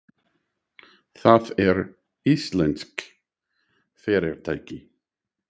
Það er íslenskt fyrirtæki.